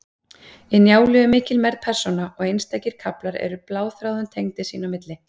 Í Njálu er mikil mergð persóna, og einstakir kaflar eru bláþráðum tengdir sín á milli.